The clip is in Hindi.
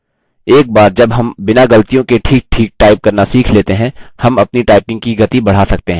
एक बार जब हम बिना गलतियों के ठीकठीक type करना सीख लेते हैं हम अपनी typing की गति बढ़ा सकते हैं